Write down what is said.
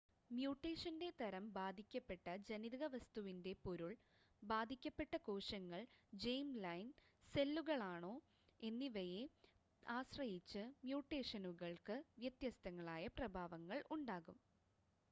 മ്യൂട്ടേഷൻ്റെ തരം ബാധിക്കപ്പെട്ട ജനിതക വസ്തുവിൻ്റെ പൊരുൾ ബാധിക്കപ്പെട്ട കോശങ്ങൾ ജേം-ലൈൻ സെല്ലുകളാണോ എന്നിവയെ ആശ്രയിച്ച് മ്യൂട്ടേഷനുകൾക്ക് വ്യത്യസ്തങ്ങളായ പ്രഭാവങ്ങൾ ഉണ്ടാകും